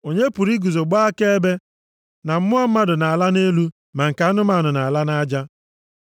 Onye pụrụ iguzo gbaa akaebe na mmụọ mmadụ na-ala nʼelu ma nke anụmanụ na-ala nʼaja?”